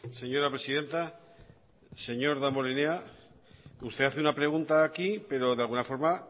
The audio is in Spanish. señora presidenta señor damborenea usted hace una pregunta aquí pero de alguna forma